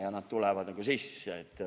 " Ja nad tulevad sisse.